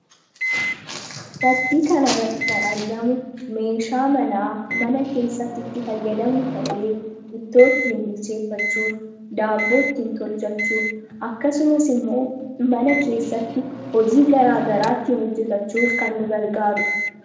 Fakii kana irratti kan argamu meeshaa manaa mana keessatti itti fayyadamnu ta'ee ittoo ittiin bilcheeffachuuf daaboo ittiin tolchachuuf akkasumas immoo mana keessatti hojii garaagaraa ittiin hojjetachuuf kan nu gargaarudha.